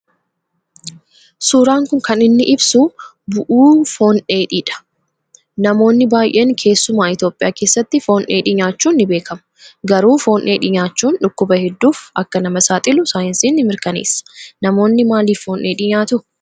Suuraan kun kan inni ibsu bu'u foon dheedhii dha. Namoonni baayyeen keessumaa Itoophiyaa keessatti foon dheedhii nyaachuun ni beekamu. Garuu foon dheedhii nyaachuun dhukkuba hedduuf akka nama saaxilu saayinsiin ni mirkaneessa. Namoonni maalif foon dheedhii nyaatu?